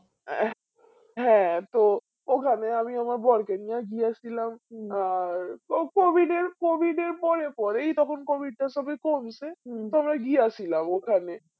হ্যাঁ তো ওখানে আমি আমার বর কে নিয়ে গিয়েছিলাম আর কো covid এর covid পরে পরেই তখন covid টা সবে কমছে তো আমরা গিয়াছিলাম ওখানে